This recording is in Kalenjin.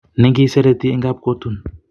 Nengiserete en kabkotun.